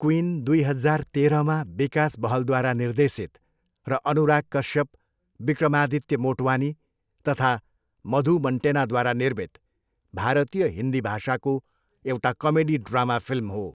Queen दुई हजार तेह्रमा विकास बहलद्वारा निर्देशित र अनुराग कश्यप, विक्रमादित्य मोटवानी तथा मधु मन्टेनाद्वारा निर्मित भारतीय हिन्दी भाषाको एउटा कमेडी ड्रामा फिल्म हो।